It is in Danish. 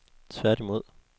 tværtimod